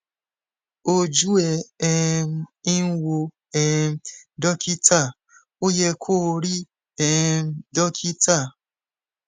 ojú ẹ um ń wò um dókítà ó yẹ kó o rí um dókítà